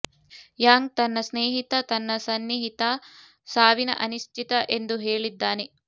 Yang ತನ್ನ ಸ್ನೇಹಿತ ತನ್ನ ಸನ್ನಿಹಿತ ಸಾವಿನ ಅನಿಶ್ಚಿತ ಎಂದು ಹೇಳಿದ್ದಾನೆ